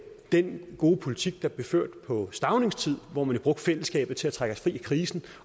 den gode politik der blev ført på staunings tid hvor man brugte fællesskabet til at trække os fri af krisen